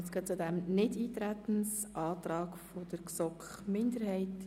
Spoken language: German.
Jetzt kommen wir zum Nichteintretensantrag der GSoK-Minderheit.